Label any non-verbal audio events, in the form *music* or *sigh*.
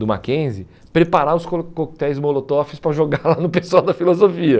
do Mackenzie preparar os *unintelligible* coquetéis *unintelligible* para jogar lá no pessoal da filosofia. *laughs*